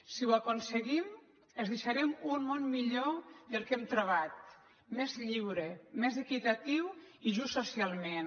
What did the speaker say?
si ho aconseguim els deixarem un món millor del que hem trobat més lliure més equitatiu i just socialment